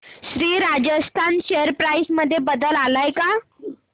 Shri Rajasthan share price मध्ये बदल आलाय का